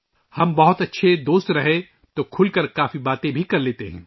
ہم بہت اچھے دوست ہیں تو ہم کھل کر بات بھی کرلیتے ہیں